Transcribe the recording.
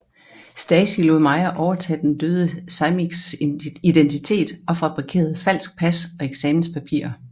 Stasi lod Meyer overtage den døde Samiecs identitet og fabrikerede falsk pas og eksamenspapirer